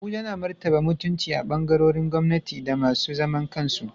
Abuja na martaba mutunci a ɓangarorin gwamnati da masu zaman kansu.